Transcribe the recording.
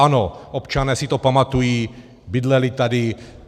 Ano, občané si to pamatují, bydleli tady.